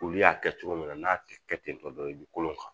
Olu y'a kɛ cogo min na n'a te kɛ tentɔ dɔrɔn i bi kolon kan